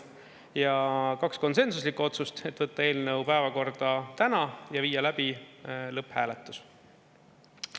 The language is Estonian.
Ja kaks konsensuslikku otsust: võtta eelnõu päevakorda täna ja viia läbi lõpphääletus.